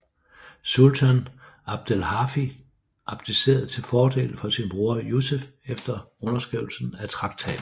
Sultan Abdelhafid abdicerede til fordel for sin broder Yusef efter underskrivelsen af traktaten